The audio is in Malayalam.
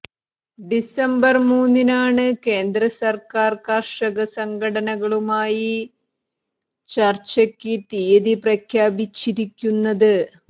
ഡിസംബര് മൂന്നിനാണ് കേന്ദ്രസര്ക്കാര് കര്ഷക സംഘടനകളുമായി ചര്ച്ചയ്ക്ക് തീയതി പ്രഖ്യാപിച്ചിരിക്കുന്നത്